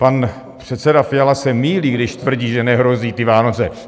Pan předseda Fiala se mýlí, když tvrdí, že nehrozí ty Vánoce.